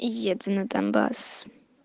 еду на донбасс